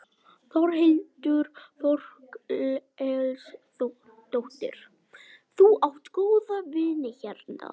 Þórhildur Þorkelsdóttir: Þú átt góða vini hérna?